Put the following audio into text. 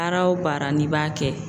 Baara o baara n'i b'a kɛ